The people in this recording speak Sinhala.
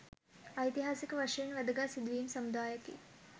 ඓතිහාසික වශයෙන් වැදගත් සිදුවීම් සමුදායකි.